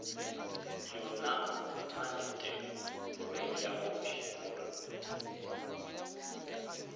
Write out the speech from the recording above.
yona maleteku morwedi wa kgoši